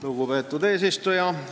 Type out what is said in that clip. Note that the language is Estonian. Lugupeetud eesistuja!